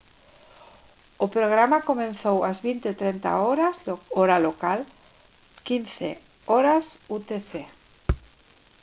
o programa comezou ás 20:30 h hora local 15:00 h utc